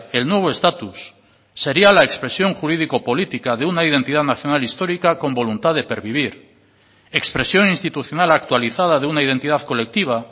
el nuevo estatus seria la expresión jurídico política de una identidad nacional histórica con voluntad de pervivir expresión institucional actualizada de una identidad colectiva